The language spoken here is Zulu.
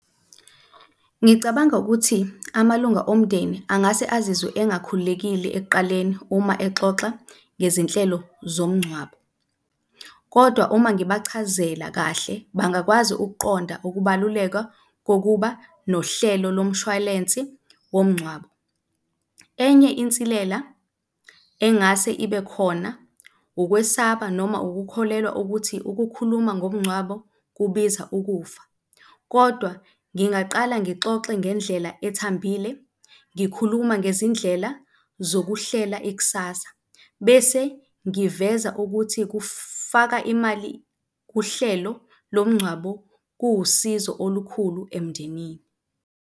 Ngicabanga ukuthi amalunga omndeni angase azizwe engakhululekile ekuqaleni uma exoxa ngezinhlelo zomngcwabo kodwa uma ngibachazela kahle, bangakwazi ukuqonda ukubaluleka kokuba nohlelo lomshwalensi womngcwabo. Enye insilela engase ibe khona, ukwesaba noma ukukholelwa ukuthi ukukhuluma ngomgcwabo kubiza ukufa kodwa ngingaqala ngixoxe ngendlela ethambile, ngikhuluma ngezindlela zokuhlela ikusasa bese ngiveza ukuthi kufaka imali kuhlelo lomngcwabo kuwusizo olukhulu emndenini.